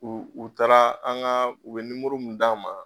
U u taara an ka u bɛ mun d'an ma.